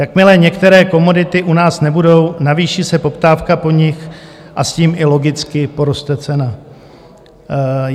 Jakmile některé komodity u nás nebudou, navýší se poptávka po nich a s tím i logicky poroste cena.